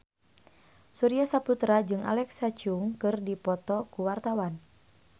Surya Saputra jeung Alexa Chung keur dipoto ku wartawan